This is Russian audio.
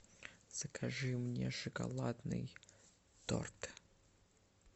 закажи мне шоколадный торт